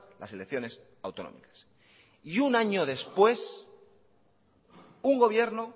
las elecciones autonómicas y un año después un gobierno